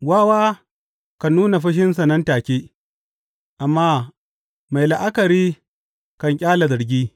Wawa kan nuna fushinsa nan take, amma mai la’akari kan ƙyale zargi.